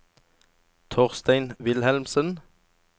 Torstein Wilhelmsen